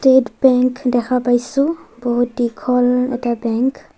TET bank দেখা পাইছোঁ বহুত দীঘল এটা বেংক ।